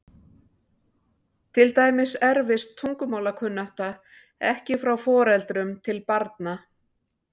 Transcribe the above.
Til dæmis erfist tungumálakunnátta ekki frá foreldrum til barna.